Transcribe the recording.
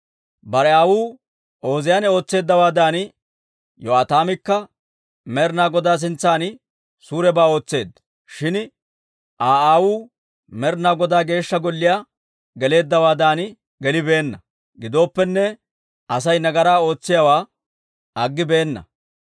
Bare aawuu Ooziyaane ootseeddawaadan, Yo'aataamikka Med'inaa Godaa sintsan suurebaa ootseedda; shin I Aa aawuu Med'inaa Godaa Geeshsha Golliyaa geleeddawaadan gelibeenna. Gidooppenne, Asay nagaraa ootsiyaawaa aggibeenna.